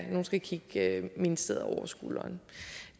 nogle skal kigge ministeriet over skulderen